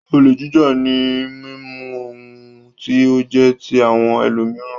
Olè jíjà ni mímú ohun tí ó jẹ́ ti àwọn ẹlòmíràn.